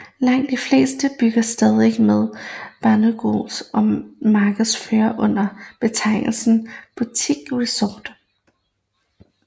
Langt de fleste bygges stadig med bungalows og markedsføres under betegnelsen boutique resorts